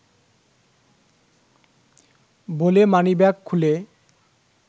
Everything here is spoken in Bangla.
বলে মানিব্যাগ খুলে